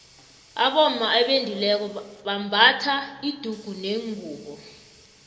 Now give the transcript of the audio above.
abomma abendileko bambatha idugunengubu